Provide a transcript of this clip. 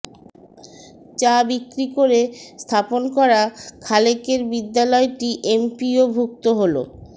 চা বিক্রি করে স্থাপন করা খালেকের বিদ্যালয়টি এমপিওভুক্ত হলো